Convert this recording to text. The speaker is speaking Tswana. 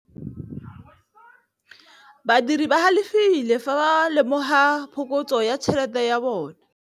Badiri ba galefile fa ba lemoga phokotsô ya tšhelête ya bone.